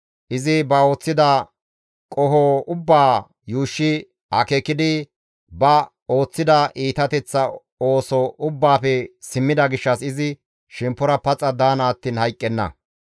Izi ba ooththida qoho ubbaa yuushshi akeekidi, ba ooththida iitateththa ooso ubbaafe simmida gishshas izi shemppora paxa daana attiin hayqqenna.